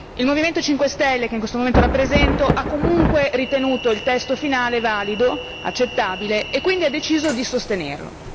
il Movimento 5 stelle che in questo momento rappresento ha comunque ritenuto il testo finale valido, accettabile, e quindi ha deciso di sostenerlo.